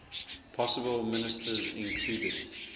possible ministers included